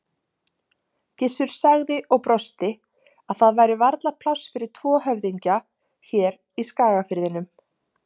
Gissur sagði og brosti að það væri varla pláss fyrir tvo höfðingja hér í Skagafirðinum.